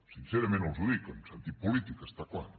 sincerament els ho dic en sentit polític està clar